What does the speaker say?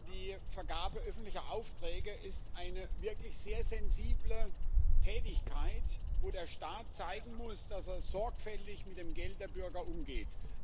Die Vergabe öffentlicher Aufträge ist eine wirklich sehr sensible Tätigkeit, wo der Staat zeigen muss, dass er sorgfältig mit dem Geld der Bürger umgeht.